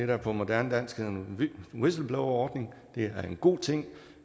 der på moderne dansk hedder en whistleblowerordning det er en god ting